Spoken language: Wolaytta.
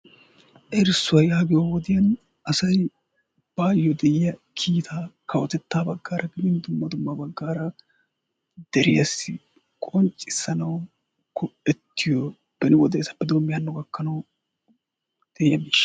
erissuwaa yaagiyoo wodiyaan asay baayoo de'iyaa kiitaa kawottettaa baggaara dumma dumma baggaara deriyaasi qonccisanawu go"ettiyoo beni wodeessappe doommidi haanno gakkanawu de'iyaa miishsha.